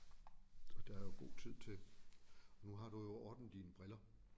Og der jo god tid til nu har du jo ordnet dine briller